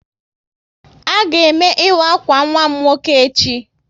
A ga eme ịwa akwa nwa m nwoke echi